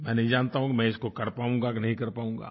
मैं नहीं जानता हूँ मैं इसको कर पाऊंगा कि नहीं कर पाऊंगा